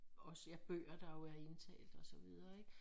Også ja bøger der jo er indtalt og så videre ikke